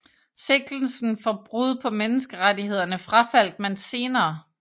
Sigtelsen for brud på menneskerettighederne frafaldt man senere